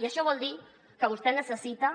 i això vol dir que vostè necessita